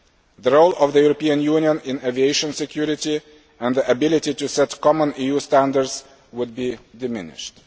measures. The role of the European Union in aviation security, and the ability to set common EU standards, would be diminished.